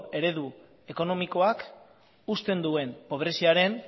eredu ekonomikoak uzten duen pobreziaren